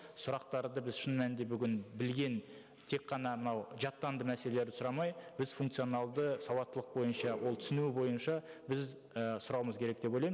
сұрақтарды біз шын мәнінде бүгін білген тек қана мынау жаттанды мәселелерді сұрамай біз функционалды сауаттылық бойынша ол түсінуі бойынша біз і сұрауымыз керек деп ойлаймын